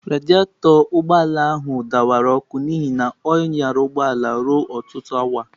Radịatọ nke ụgbọ ala ahụ dawara ọkụ n'ihi na ọ nyala ụgbọ ala ruo ọtụtụ awa.